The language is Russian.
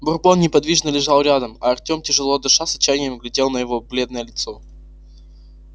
бурбон неподвижно лежал рядом а артём тяжело дыша с отчаянием глядел на его бледное лицо